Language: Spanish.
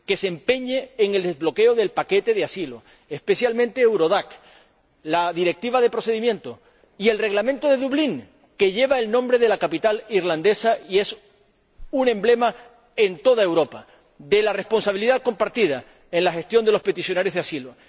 Que se empeñe en el desbloqueo del paquete de asilo, especialmente Eurodac, la Directiva de procedimiento y el Reglamento de Dublín, que lleva el nombre de la capital irlandesa y es un emblema en toda Europa de la responsabilidad compartida en la gestión de los peticionarios de asilo.